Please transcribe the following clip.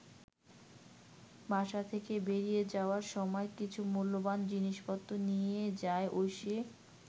বাসা থেকে বেরিয়ে যাওয়ার সময় কিছু মূল্যবান জিনিসপত্র নিয়ে যায় ঐশী।